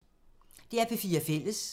DR P4 Fælles